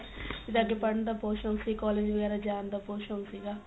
ਅਗੇ ਪੜਣ ਦਾ ਬਹੁਤ ਸ਼ੋਂਕ ਸੀ college ਵਗੈਰਾ ਜਾਣ ਦਾ ਬਹੁਤ ਸ਼ੋਂਕ ਸੀਗਾ